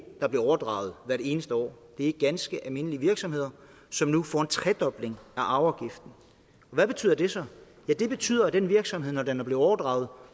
der bliver overdraget hvert eneste år det er ganske almindelige virksomheder som nu får en tredobling af arveafgiften hvad betyder det så det betyder at den virksomhed når den er blevet overdraget